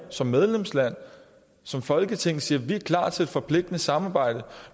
som medlemsland som folketing siger at vi er klar til et forpligtende samarbejde